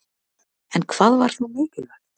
En hvað var þá mikilvægt?